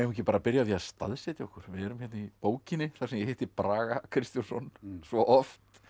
ekki að byrja á því að staðsetja okkur við erum hérna í bókinni þar sem ég hitti Braga Kristjónsson svo oft